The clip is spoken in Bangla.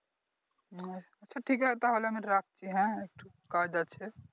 হ্যাঁ আচ্ছা ঠিক আছে তাহলে আমি রাখছি হ্যাঁ একটু কাজ আছে